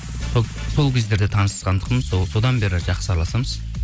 сол кездері танысқан тұғынмын сол содан бері жақсы араласамыз